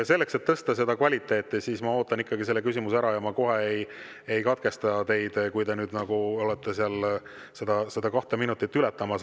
Selleks et tõsta kvaliteeti, ma ootan ikkagi küsimuse ära ja ma kohe ei katkesta teid, kui te olete seda kahte minutit ületamas.